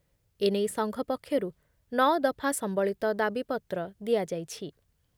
ଏନେଇ ସଂଘ ପକ୍ଷରୁ ନଅ ଦଫା ସମ୍ବଳିତ ଦାବିପତ୍ର ଦିଆଯାଇଛି ।